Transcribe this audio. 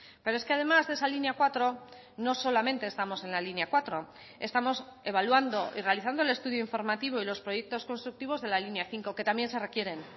pero es que además de esa línea cuatro no solamente estamos en la línea cuatro estamos evaluando y realizando el estudio informativo y los proyectos constructivos de la línea cinco que también se requieren